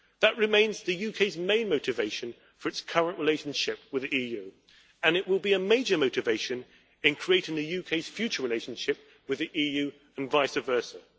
That remains the UK's main motivation for its current relationship with the EU, and it will be a major motivation in creating the UK's future relationship with the EU and vice versa.